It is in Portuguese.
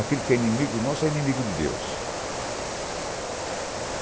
Aquilo que é inimigo nosso é inimigo de Deus.